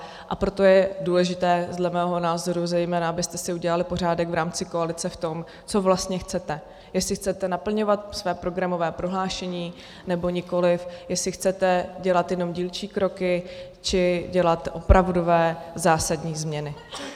A proto je důležité dle mého názoru, zejména abyste si udělali pořádek v rámci koalice v tom, co vlastně chcete, jestli chcete naplňovat své programové prohlášení, nebo nikoli, jestli chcete dělat jenom dílčí kroky, či dělat opravdové zásadní změny.